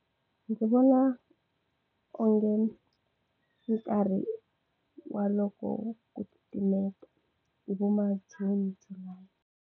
Ndzi vona onge nkarhi wa loko ku titimeta hi voma June.